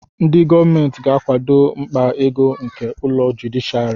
Ndị gọọmentị ga-akwado mkpa ego nke ụlọ jụdịshịàrị